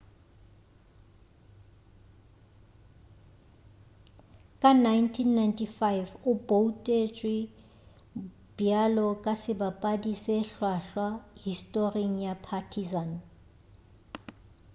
ka 1995 o boutetšwe bjalo ka sebapadi se hlwahlwa historing ya partizan